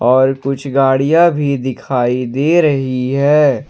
और कुछ गाड़िया भी दिखाई दे रही है।